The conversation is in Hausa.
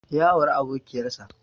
Ya auri abokiƴar sa.